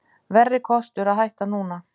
Verri kostur að hætta núna